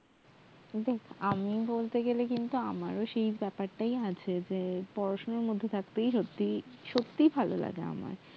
দেক আমি বলতে গেলে কিন্তু আমারও সেই ব্যাপার টাই আছে যে পড়াশোনার মধ্যে থাকতে সত্যি সত্যি ভাল লাগে আমার